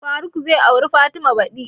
Faruk zai aure fatima badi